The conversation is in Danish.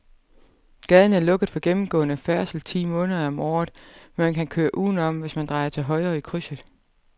Gaden er lukket for gennemgående færdsel ti måneder om året, men man kan køre udenom, hvis man drejer til højre i krydset.